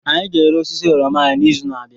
Anyị ga-ere osisi oroma anyị n'izu na-abịa.